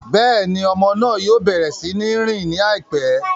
Béèni, ọmọ náà yóò bẹrẹ si ń rìn laipẹ